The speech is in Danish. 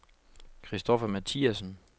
Christoffer Mathiasen